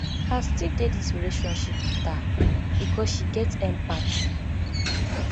i still dey dis relationship wit her because she get empathy